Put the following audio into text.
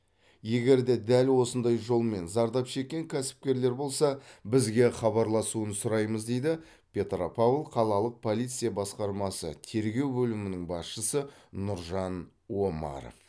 егер де дәл осындай жолмен зардап шеккен кәсіпкерлер болса бізге хабарласуын сұраймыз дейді петропавл қалалық полиция басқармасы тергеу бөлімінің басшысы нұржан омаров